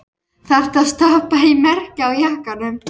Þarftu að stoppa í merkið á jakkanum?